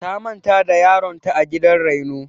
Ta manta da yaron ta a gidan raino.